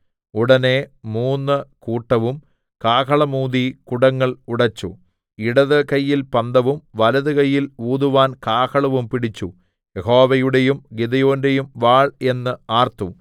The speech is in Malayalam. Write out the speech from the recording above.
ഉടനെ മൂന്നു കൂട്ടവും കാഹളം ഊതി കുടങ്ങൾ ഉടെച്ചു ഇടത്ത് കയ്യിൽ പന്തവും വലത്തു കയ്യിൽ ഊതുവാൻ കാഹളവും പിടിച്ചു യഹോവയുടെയും ഗിദെയോന്റെയും വാൾ എന്ന് ആർത്തു